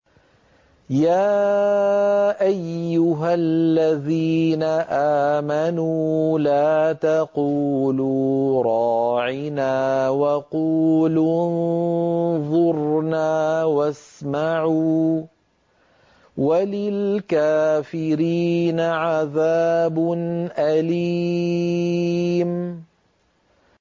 يَا أَيُّهَا الَّذِينَ آمَنُوا لَا تَقُولُوا رَاعِنَا وَقُولُوا انظُرْنَا وَاسْمَعُوا ۗ وَلِلْكَافِرِينَ عَذَابٌ أَلِيمٌ